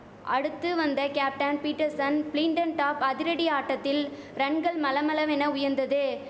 அடுத்து வந்த captain Pietersen பிளின்டன்டாப் அதிரடி ஆட்டத்தில் ரன்கள் மளமளவென உயர்ந்தது